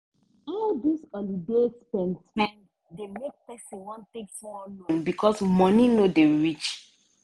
all dis holiday spend-spend dey make person wan take small loan because money no dey reach.